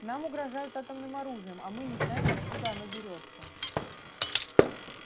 нам угрожают атомным оружием а мы не знаем откуда оно берётся